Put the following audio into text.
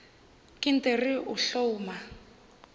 ke nt re o hloma